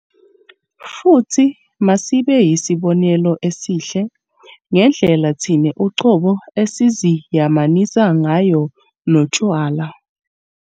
Futhi masibe yisibonelo esihle ngendlela thina uqobo esiziyamanisa ngayo notshwala.